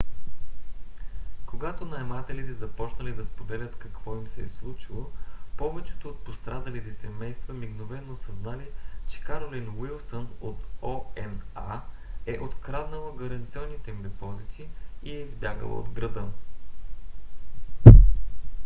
когато наемателите започнали да споделят какво им се е случило повечето от пострадалите семейства мигновено осъзнали че каролин уилсън от oha е откраднала гаранционните им депозити и е избягала от града